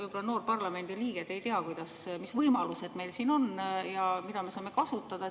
Võib-olla te, noor parlamendiliige, ei tea, mis võimalused meil siin on ja mida me saame kasutada.